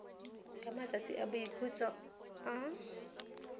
ka matsatsi a boikhutso a